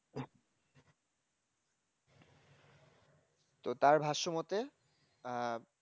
তো তার ভারসাম্মতে আহ